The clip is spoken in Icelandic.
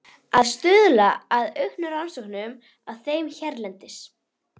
Að stuðla að auknum rannsóknum á þeim hérlendis.